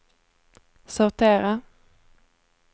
sortera